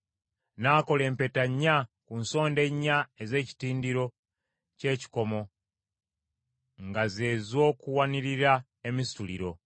N’akola empeta nnya ku nsonda ennya ez’ekitindiro ky’ekikomo nga ze z’okuwanirira emisituliro.